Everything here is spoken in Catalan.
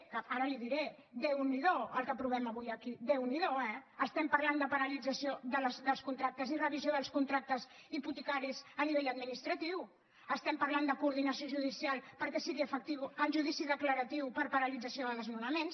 que ara li ho diré déu n’hi do el que aprovem avui aquí déu n’hi do eh estem parlant de paralització dels contractes i revisió dels contractes hipotecaris a nivell administratiu estem parlant de coordinació judicial perquè sigui efectiu el judici declaratiu per a paralització de desnonaments